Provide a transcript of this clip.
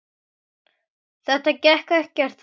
Þetta gekk ekkert þá.